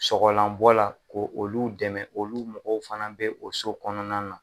Sogolanbɔ la, ko olu dɛmɛ, olu mɔgɔw fana bɛ o so kɔnɔna na.